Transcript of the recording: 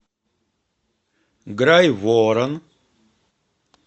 грайворон